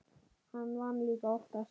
Hann vann líka oftast.